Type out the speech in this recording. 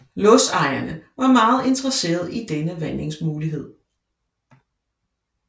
Lodsejerne var meget interesserede i denne vandingsmulighed